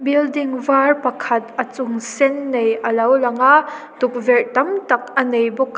building var pakhat a chung sen nei a lo lang a tukverh tamtak a nei bawk --